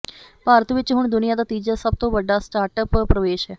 ਭਾਰਤ ਵਿਚ ਹੁਣ ਦੁਨੀਆ ਦਾ ਤੀਜਾ ਸਭ ਤੋਂ ਵੱਡਾ ਸਟਾਰਟਅੱਪ ਪ੍ਰਵੇਸ਼ ਹੈ